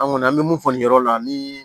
An kɔni an bɛ mun fɔ nin yɔrɔ la ni